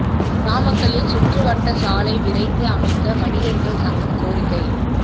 நாமக்கல்லில் சுற்று வட்டச் சாலை விரைந்து அமைக்க வணிகா்கள் சங்கம் கோரிக்கை